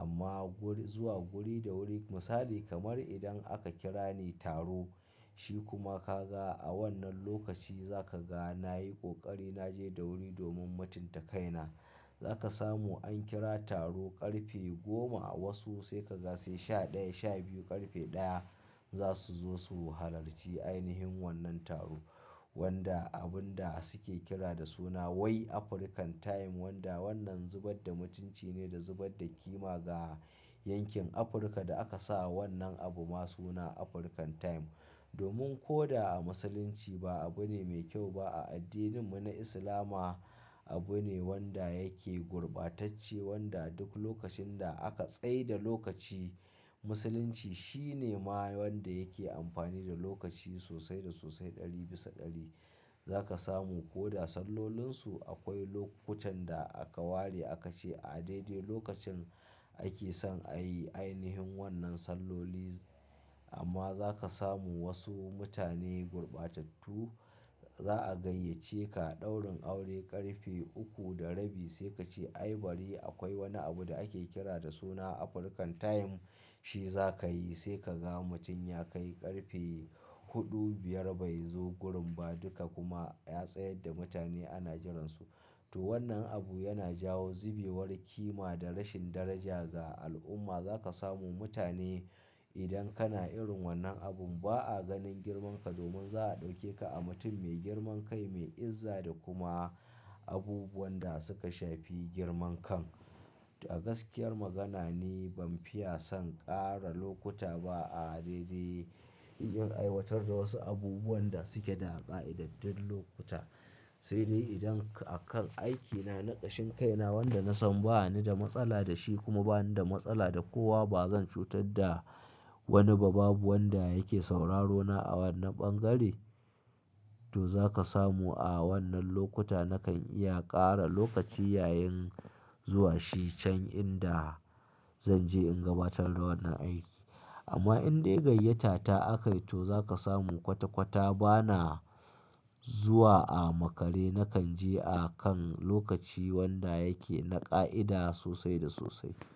Amma guri, zuwa guri da wuri misali kamar idan aka kira ni taro shi kuma ka ga a wannan lokaci za ka ga na yi ƙoƙari na je da wuri domin mutunta kaina. Za ka samu an kira taro ƙarfe goma wasu sai ka ga sai sha ɗaya, sha biyu ƙarfe ɗaya za su zo su halarci ainihin wannan taro wanda abun da suke kira da suna wai African time wanda wannan zubar da mutunci ne da zubar da ƙima ga yankin Afirka da aka sa wannan abu ma suna African time. Domin ko da a Musulunci ba abu ne mai kyau ba. A addininmu na Islama abu ne wanda yake gurbatacce wanda duk lokacin da aka tsai da lokaci musulunci shine ma wanda yake amfani da lokaci sosai da sosai ɗari bisa ɗari. Za ka samu ko da sallolinsu akwai lokutan da aka ware aka ce a daidai lokacin ake son a yi ainihin wannan salloli amma za ka samu wasu mutane gurbatattu za a gayyace ka ɗaurin aure ƙarfe uku da rabi sai ka ce ai bari akwai wani abu da ake kira da suna African time shi za ka yi. Sai ka ga mutum ya kai ƙarfe huɗu, biyar bai zo gurin ba duka kuma ya tsayar da mutane ana jiransu. To wannan abu yana jawo zubewar ƙima da rashin daraja a al'umma. Za ka samu mutane idan kana irin wannan abun ba a ganin girmanka domin za a ɗauke ka a mutum mai girman kai, mai izza da kuma abubuwan da suka shafi girman kan. A gaskiyar magana ni ban fiya son ƙara lokuta ba a daidai in zaqn aiwatar da wasu abubuwan da suke da ƙa'ida duk lokuta. Sai dai idan akan aikina naƙashin kaina wanda na san ba ni da matsala da shi kuma ba ni da matsala da kowa ba zan cutar da wani ba babu wanda yake sauraro na a wannan ɓangare to za ka samu a wannan lokuta nakan iya ƙara lokaci yayin zuwa shi can inda zan je in gabatar da wannan aiki. Amma in dai gayyata ta aka yi to za ka samu kwata-kwata bana zuwa a makare. Nakan je akan lokaci wanda yake na ƙa'ida sosai da sosai.